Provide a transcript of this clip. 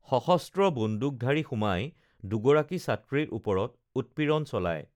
সশস্ত্ৰ বন্দুকধাৰী সোমাই দুগৰাকী ছাত্ৰীৰ ওপৰত উৎপীড়ন চলায়